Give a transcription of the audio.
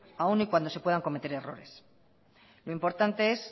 aún y cuando se puedan cometer errores lo importante es